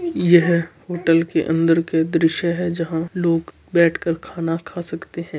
यह होटल के अंदर के दृश्य है जहां लोग बैठ कर खाना खा सकते है।